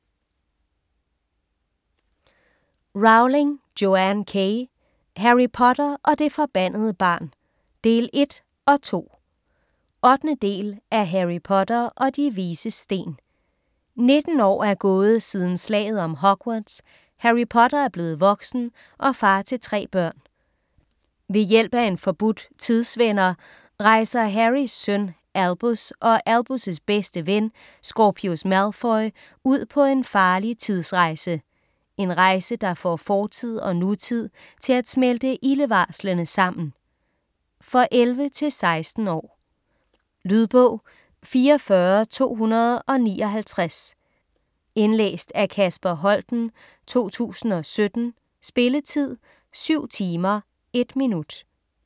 Rowling, Joanne K.: Harry Potter og det forbandede barn: del et & to 8. del af Harry Potter og De Vises Sten. 19 år er gået siden slaget om Hogwarts. Harry Potter er blevet voksen og far til 3 børn. Ved hjælp af en forbudt Tidsvender, rejser Harrys søn Albus og Albus' bedste ven Scorpius Malfoy, ud på en farlig tidsrejse. En rejse der får fortid og nutid til at smelte ildevarslende sammen. For 11-16 år. Lydbog 44259 Indlæst af Kasper Holten, 2017. Spilletid: 7 timer, 1 minut.